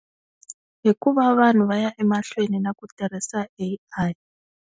Hikuva vanhu va ya emahlweni naku tirhisa A_I.